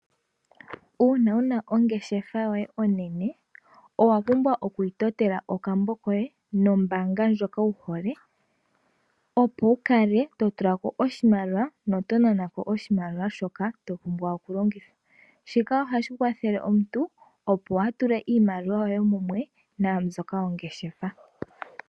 Uuna wuna ongeshefa yoye onene owa pumbwa okuyi totela okambo koye nombaanga ndjoka wuhole, opo wukale totu la ko oshimaliwa noto nana ko oshimaliwa shoka topumbwa oku longitha. Shika ohashi kwathele omuntu opo kaatule iimaliwa ye mumwe naambyoka yongeshefa.